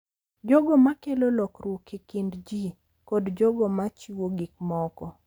Jogo ma kelo lokruok e kind ji, kod jogo ma chiwo gik moko.